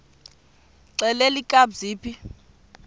xelel kabs iphi